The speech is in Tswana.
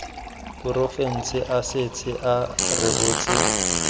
porofense a setse a rebotse